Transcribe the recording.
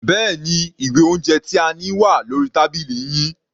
Bẹ́ẹ̀ni, ìwé oúnjẹ tí a ní wà lórí tábìlì yín.